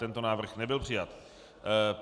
Tento návrh nebyl přijat.